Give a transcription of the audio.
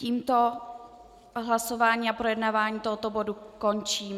Tímto hlasování a projednávání tohoto bodu končím.